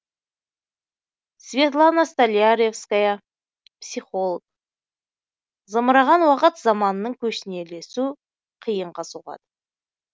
светлана столяревская психолог зымыраған уақыт заманының көшіне ілесу қиынға соғады